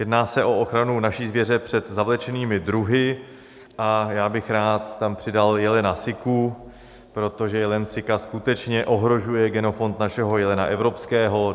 Jedná se o ochranu naší zvěře před zavlečenými druhy a já bych rád tam přidal jelena siku, protože jelen sika skutečně ohrožuje genofond našeho jelena evropského.